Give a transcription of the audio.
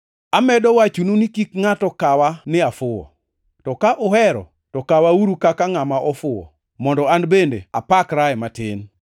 Amedo wachonu ni kik ngʼato kawa ni afuwo. To ka uhero, to kawauru kaka ngʼama ofuwo, mondo an bende apakrae matin.